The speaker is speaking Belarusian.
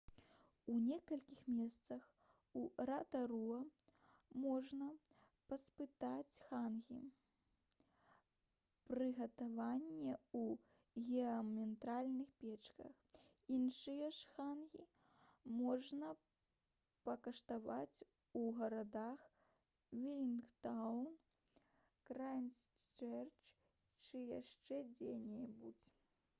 у некалькіх месцах у ратаруа можна паспытаць хангі прыгатаванае ў геатэрмальных печках іншыя ж хангі можна пакаштаваць у гарадах велінгтан крайстчэрч ці яшчэ дзе-небудзь